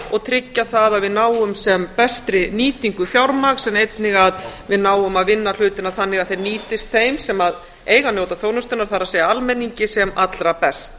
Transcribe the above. og tryggja það að við náum sem bestri nýtingu fjármagns en einnig að við náum að vinna hlutina þannig að þeir nýtist þeim sem eiga að njóta þjónustunnar það er almenningi sem allra best